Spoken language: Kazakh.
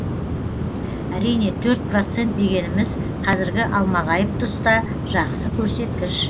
әрине төрт процент дегеніміз қазіргі алмағайып тұста жақсы көрсеткіш